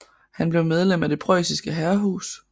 Han blev medlem af det preussiske herrehus